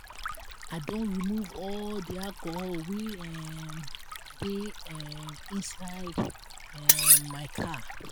i don remove all the alcohol wey um dey um inside um my car